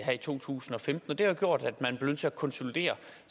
to tusind og femten og det har gjort at man nødt til at konsolidere